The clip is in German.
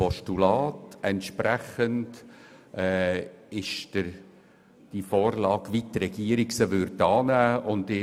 Entsprechend gilt die Vorlage, wie sie die Regierung anzunehmen bereit ist.